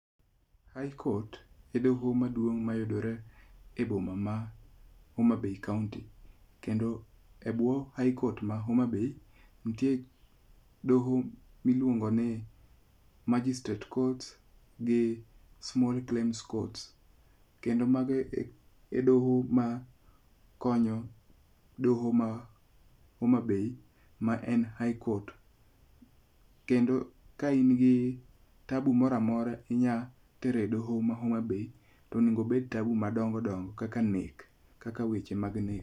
High Court e doho maduong' mayudore e boma ma Homa Bay kaunti. Kendo e bwo High Court ma Homa Bay, nitie doho miluongo ni Margistrate Court gi small claims court. Kendo mago e doho ma konyo doho ma Homa Bay ma en High Court. Kendo ka in gi tabu moro amora inya tero e doho ma Homa Bay tonego obed tabu madongo dongo kaka nek. Kaka weche mad nek.